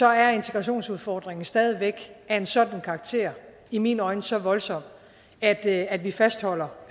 er integrationsudfordringen stadig væk af en sådan karakter i mine øjne så voldsom at at vi fastholder